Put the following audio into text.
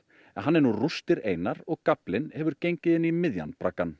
en hann er nú rústir einar og gaflinn hefur gengið inn í miðjan